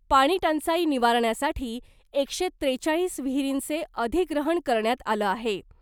पाणी टंचाई निवारण्यासाठी एकशे त्रेचाळीस विहिरींचे अधिग्रहण करण्यात आलं आहे .